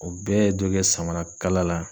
O bɛɛ ye dɔ kɛ samarakala la